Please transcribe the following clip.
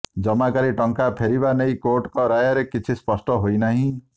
ଜମାକାରୀ ଟଙ୍କା ଫେରିବା ନେଇ କୋର୍ଟଙ୍କ ରାୟରେ କିଛି ସ୍ପଷ୍ଟ ହୋଇନାହିଁ